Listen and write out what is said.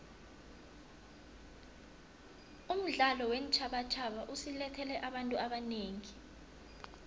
umdlalo weentjhabatjhaba usilethele abantu abanengi